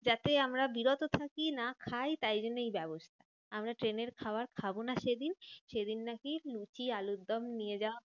যাতে আমরা বিরত থাকি না খাই, তাই জন্য এই ব্যবস্থা। আমরা ট্রেনের খাবার খাবো না সেদিন। সেদিন নাকি লুচি আলুরদম নিয়ে যাওয়া